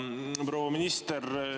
Proua minister!